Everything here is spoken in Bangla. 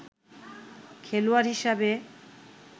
খেলোয়াড় হিসেবে